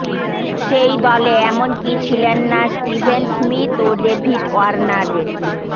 সেই দলে এমনকি ছিলেন না স্টিভেন স্মিথ ও ডেভিড ওয়ার্নারের